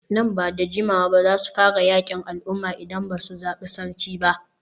Nan ba da jimawa ba za su fara yakin al'umma idan ba su zabi sarki ba.